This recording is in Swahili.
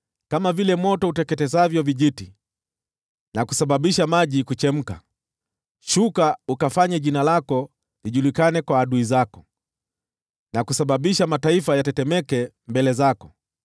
Kama vile moto uteketezavyo vijiti na kusababisha maji kuchemka, shuka ukafanye jina lako lijulikane kwa adui zako, na kusababisha mataifa yatetemeke mbele zako!